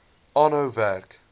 aanhou werk